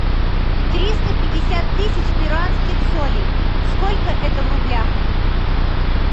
триста пятьдесят тысяч перуанских солей сколько это в рублях